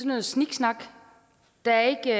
noget sniksnak der er ikke